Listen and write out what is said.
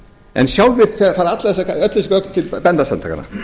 en sjálfvirk fara öll þessi gögn til bændasamtakanna